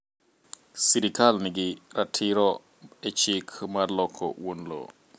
Sirkal nigi ratiro e chik mar loko wuon lowo.